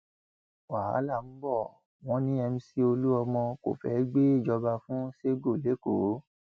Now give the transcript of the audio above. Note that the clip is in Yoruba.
wàhálà ńbọ wọn ní mc olomini kò fẹẹ gbéjọba fún sẹgò lẹkọọ